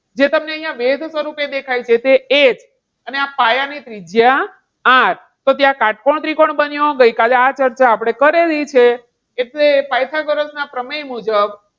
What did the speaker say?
જે તમને અહીંયા વેધ સ્વરૂપે દેખાય છે. એ જ અને આ પાયાની ત્રિજ્યા R તો ત્યાં કાટકોણ ત્રિકોણ બન્યો. ગઈકાલે આપણે આ ચર્ચા કરેલી છે. એટલે પાયથાગોરસના પ્રમેય મુજબ,